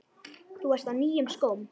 Þú varst á nýjum skóm.